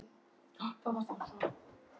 Klukkan er orðin ellefu.